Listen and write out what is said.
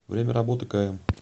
время работы км